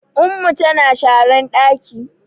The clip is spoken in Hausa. Ummu tana sharan ɗaki